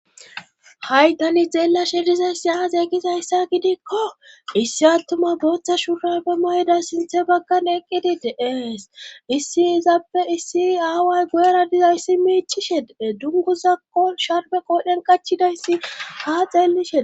haytani xeellashe dizayssi aase egizayssa gidikko issi attuma booththa shura ba mayday sinthe baggan eqqidi deees. issi izappe issi aaway guyera dizayssi miichishe dees dungguzakkon sharbe qoodhen qachidayssi haa xeellishee